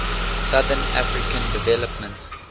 southern african development